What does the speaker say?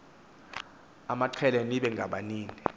amaqela nibe ngababini